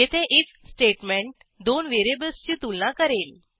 येथे if statement दोन व्हेरिएबल्सची तुलना करेल